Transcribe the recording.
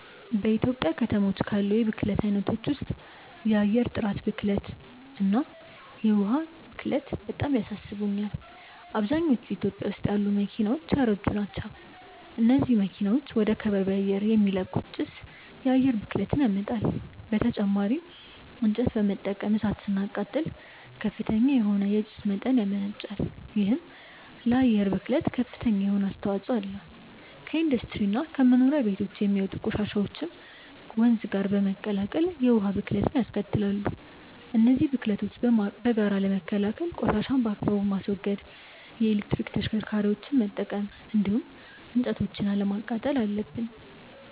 በኢትዮጵያ ከተሞች ካሉ የብክለት አይነቶች ውስጥ የአየር ጥራት ብክለት እና የዉሃ ብክለት በጣም ያሳስቡኛል። አብዛኞቹ ኢትዮጵያ ውስጥ ያሉ መኪናዎች ያረጁ ናቸው። እነዚህ መኪናዎች ወደ ከባቢ አየር የሚለቁት ጭስ የአየር ብክለትን ያመጣል። በተጨማሪም እንጨት በመጠቀም እሳት ስናቃጥል ከፍተኛ የሆነ የጭስ መጠን ያመነጫል። ይሄም ለአየር ብክለት ከፍተኛ የሆነ አስተዋጽኦ አለው። ከኢንዱስትሪ እና ከመኖሪያ ቤቶች የሚወጡ ቆሻሻዎችም ወንዝ ጋር በመቀላቀል የውሃ ብክለትንያስከትላሉ። እነዚህን ብክለቶች በጋራ ለመከላከል ቆሻሻን በአግባቡ ማስወገድ፣ የኤሌክትሪክ ተሽከርካሪዎችን መጠቀም እንዲሁም እንጨቶችን አለማቃጠል አለብን።